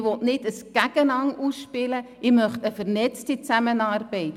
Ich möchte kein Gegeneinander-Ausspielen, sondern eine vernetzte Zusammenarbeit.